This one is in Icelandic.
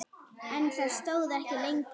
En það stóð ekki lengi.